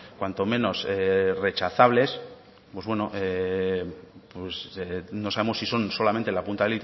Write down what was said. cuanto menos rechazables pues no sabemos si son solamente la punta